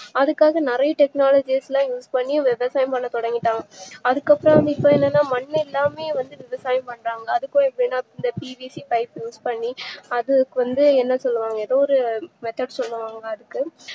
அதுக்காக நறைய technology ல use பண்ணி விவசாயம் பண்ண தொடங்கிட்டாங்க அதுக்குஅப்றம் இப்போ என்னன்னா மண்ணுஇல்லாமையே விவசாயம் பண்றாங்க அதுக்காகதா இந்த PVCpipe use பண்ணி அதுக்குவந்து என்னா செய்வாங்க